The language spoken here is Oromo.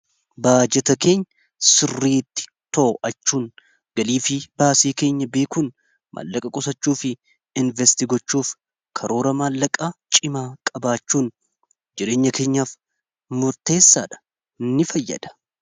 baajeta keenya sirriiti to'achuun galii fi baasii keenya beekuun maallaqa qusachuu fi investi gochuuf karoora maallaqaa cimaa qabaachuun jireenya keenyaaf murteessaa dha ni fayyada